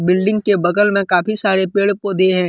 Building के बगल में काफी सारे पेड़- पौधे हैं।